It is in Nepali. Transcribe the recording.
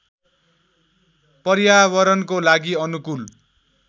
पर्यावरणको लागि अनुकूल